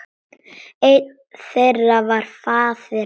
Einn þeirra var faðir hans.